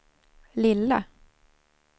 lilla